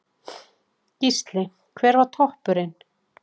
Gísli: Hver var toppurinn?